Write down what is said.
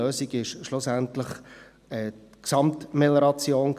Die Lösung war schlussendlich diese Gesamtmelioration.